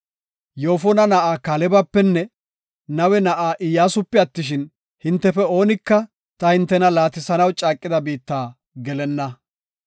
Yoofona na7a Kaalebapenne Nawe na7a Iyyasupe attishin, hintefe oonika ta hintena laatisanaw caaqida biitta gelenna.